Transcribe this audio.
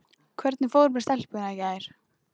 Hvernig fór með stelpuna í gær?